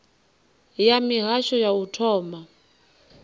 ya mihasho ya u thoma